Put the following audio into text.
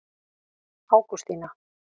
Ágústína